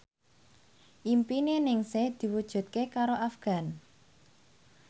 impine Ningsih diwujudke karo Afgan